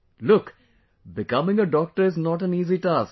Look, becoming a doctor is not an easy task